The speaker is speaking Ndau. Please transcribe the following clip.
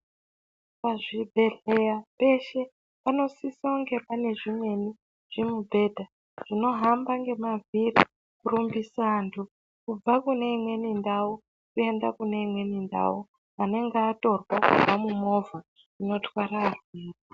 Pazvibhedhlera peshe panosisa kunge pane zvimweni zvinohamba kurumbisa vantu kubva kune imweni ndau kuenda kyimweni ndau inenge yatorwa kubva mumovha.